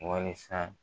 Wasa